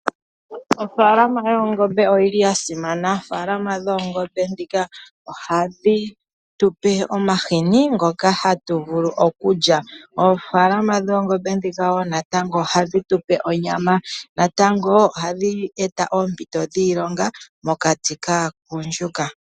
Ofaalama yoongombe oyili ya simana. Ofaalama dhoongombe ndhika ohadhi tu pe omahini ngoka hatu vulu okulya. Oofaalama dhoongombe ndhika wo natango ohadhi tu pe onyama, natango ohadhi e ta oompito dhiilonga mokati kaagundjuka.